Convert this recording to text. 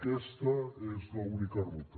aquesta és l’única ruta